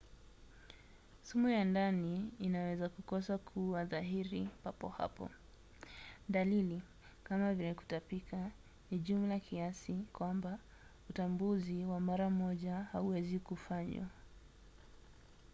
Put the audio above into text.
sumu ya ndani inaweza kukosa kuwa dhahiri papo hapo. dalili kama vile kutapika ni jumla kiasi kwamba utambuzi wa mara moja hauwezi kufanywa